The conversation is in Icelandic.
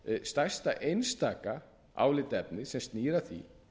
stærsta einstaka álitaefnið sem snýr að því